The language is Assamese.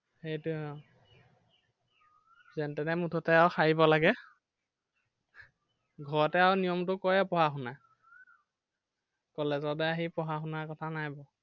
সেইটোৱেই আহ যেনেতেনে মুঠতে আৰু হাৰিব লাগে। ঘৰতে আৰু নিয়মতো কৰে আৰু পঢ়া-শুনা college লে আহি পঢ়া শুনাৰ কথা নাই বাৰু।